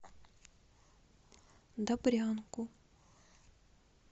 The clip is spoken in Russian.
добрянку